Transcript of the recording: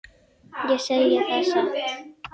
Ég segi það satt.